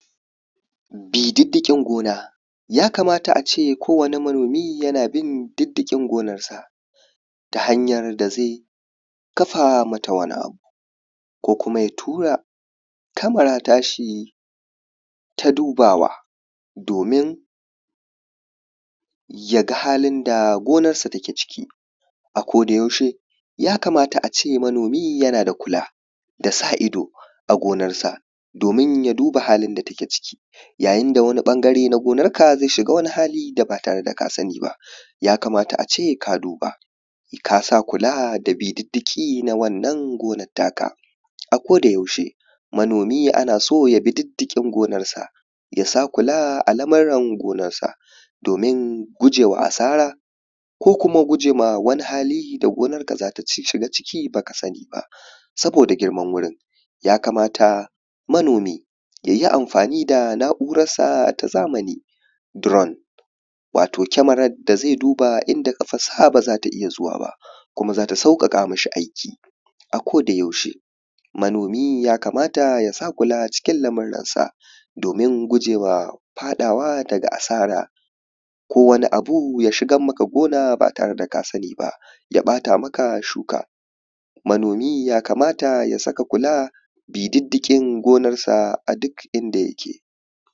Bi diddiƙin gona, yakamata a ce ko wane manomi yana bin diddiƙin gonarsa. Ta hanyar da zai kafa mata wani abu ko kuma ya tura kamerar tashi ta dubawa domin, ya ga halin da gonarsa take ciki a kodayaushe, yakamata a ce manomi yana da kula da sa ido a gonarsa domin ya duba halin da take ciki. Yayin da wani ɓangare na gonarka zai shiga wani hali da ba tare da ka sani ba. Yakamata a ce ka duba ka sa kula da bi diddiƙi na wannan gonar taka. A kodayaushe manomi ana so ya bi diddiƙin gonarsa, ya sa kula a lamuran gonarsa domin gujewa asara ko kuma gujewa wani hali da gonarka za ta shiga ciki ba ka sani ba. Saboda girman wurin. Yakamata manomi, ya yi amfani da na’urarsa ta zamani drone wato kameran da zai duba inda ƙafarsa ba za ta iya zuwa ba. Kuma za ta sauƙaƙa mishi aiki a kodayaushe. Manomi ya sa kula cikin murannsa domin gujewa faɗawa asara ko wani abu ya shigan maka gona ba tare da ka sani ba. Ya ɓata shuka. Manomi yakamata ya saka kula bi diddiƙin gonarsa a duk inda yake.